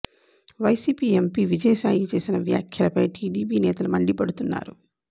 YCP MP Vijaya Sai చేసిన వ్యాఖ్యలపై TDP నేతలు మండిపడుతున్నారు